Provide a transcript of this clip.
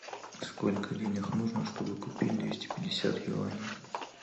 сколько денег нужно чтобы купить двести пятьдесят юаней